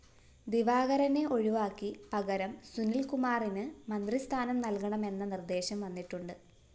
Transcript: ദിവാകരനെ ഒഴിവാക്കി പകരം സുനില്‍കുമാറിന് മന്ത്രിസ്ഥാനം നല്‍കണമെന്ന നിര്‍ദ്ദേശം വന്നിട്ടുണ്ട്